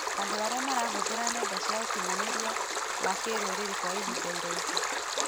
Andũ arĩa marahũthĩra nenda cia ũkinyanĩria ya kĩrũrĩrĩ kwa ihinda iraihu